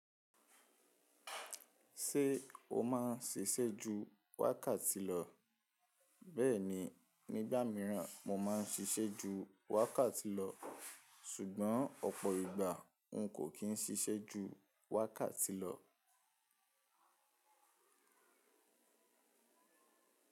Ṣé o má ń ṣiṣẹ́ ju wákàtí lọ? Bẹ́ẹ̀ni, nígbà míràn mo má ń ṣiṣẹ́ ju wákàtí lọ, ṣùgbọ́n ọ̀pọ̀ ìgbà n kò kín ṣiṣẹ́ ju wákàtí lọ.